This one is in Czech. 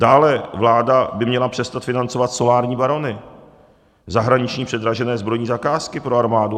Dále vláda by měla přestat financovat solární barony, zahraniční předražené zbrojní zakázky pro armádu.